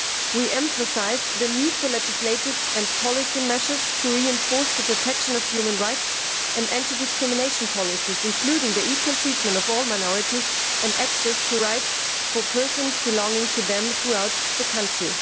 We emphasise the need for legislative and policy measures to reinforce the protection of human rights and anti discrimination policies, including the equal treatment of all minorities and access to rights for persons belonging to them throughout the country.